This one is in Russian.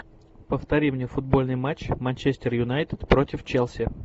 повтори мне футбольный матч манчестер юнайтед против челси